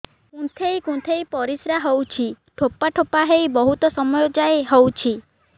କୁନ୍ଥେଇ କୁନ୍ଥେଇ ପରିଶ୍ରା ହଉଛି ଠୋପା ଠୋପା ହେଇ ବହୁତ ସମୟ ଯାଏ ହଉଛି